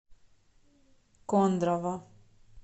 кондрово